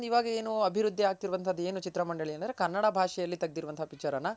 ಇವಾಗೆನು ಅಭಿವೃದ್ದಿ ಆಗ್ತಿರೋದ್ ಏನು ಚಿತ್ರ ಮಂಡಳಿ ಅಲ್ ಅಂದ್ರೆ ಕನ್ನಡ ಭಾಷೆ ಅಲ್ ತಗೆದಿರೋ ಅಂತ picture ಅನ್ನ